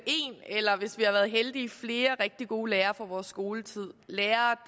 en eller hvis vi har været heldige flere rigtig gode lærere fra vores skoletid lærere